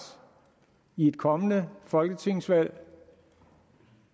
ved et kommende folketingsvalg